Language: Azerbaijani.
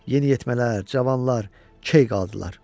Yeniyetmələr, Cavanlar key qaldılar.